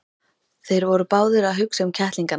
Þeir voru báðir að hugsa um kettlingana.